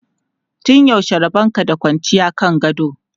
Tun yaushe rabon ka da kwanciya kan gado?